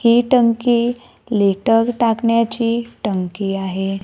हे टंकी लेटर टाकण्याची टंकी आहे.